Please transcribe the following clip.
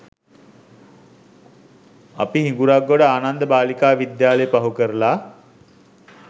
අපි හිඟුරක්ගොඩ ආනන්ද බාලිකා විද්‍යාලය පහු කරලා